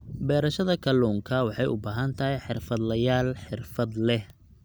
Beerashada kalluunka waxay u baahan tahay xirfadlayaal xirfad leh.